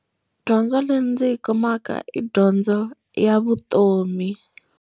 Dyondzo leyi ndzi yi kumaka i dyondzo ya vutomi.